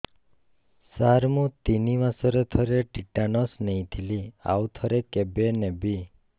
ସାର ମୁଁ ତିନି ମାସରେ ଥରେ ଟିଟାନସ ନେଇଥିଲି ଆଉ ଥରେ କେବେ ନେବି